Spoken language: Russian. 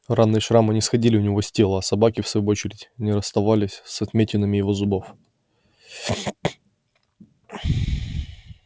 раны и шрамы не сходили у него с тела а собаки в свою очередь не расставались с отметинами его зубов